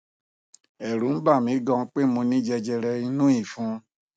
ẹrù n bà mi gan pé mo ní jẹjẹrẹ inú ìfun